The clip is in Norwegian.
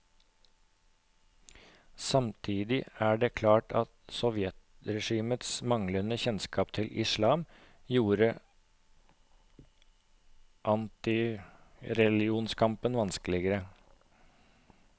Samtidig er det klart at sovjetregimets manglende kjennskap til islam gjorde antireligionskampen vanskeligere.